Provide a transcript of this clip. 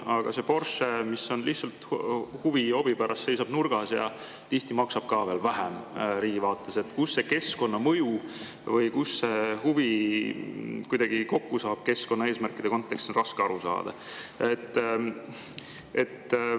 Aga see Porsche, mis lihtsalt huvi ja hobi pärast seisab nurgas ja tihti maksab ka veel vähem – kus see keskkonnamõju keskkonnaeesmärkide kontekstis ja see huvi riigi vaates kuidagi kokku saab, on raske aru saada.